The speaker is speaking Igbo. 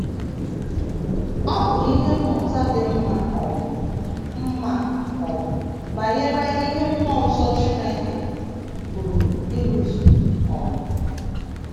Ọ bụ ihe mmụta dị mma um mma um banyere ihe mmụọ nsọ Chineke pụrụ ịrụzu. um